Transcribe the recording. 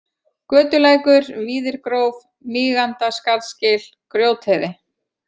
Götulækur, Víðirgróf, Mígandaskarðsgil, Grjótheiði